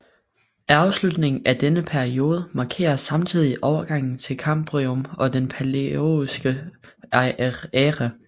Afslutningen af denne periode markerer samtidig overgangen til Kambrium og den palæozoiske æra